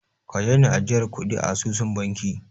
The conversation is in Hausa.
Ka daina ajiyar kuɗi a asusun banki!